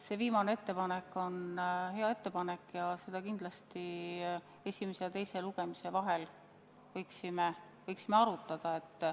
See viimane ettepanek on hea ettepanek ja seda me kindlasti esimese ja teise lugemise vahel võiksime arutada.